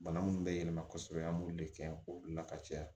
Bana munnu bɛ yɛlɛma kosɛbɛ an b'olu de kɛ k'olu la ka caya